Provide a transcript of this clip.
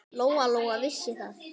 Lóa-Lóa vissi það.